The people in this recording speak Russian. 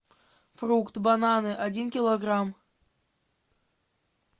фрукты бананы один килограмм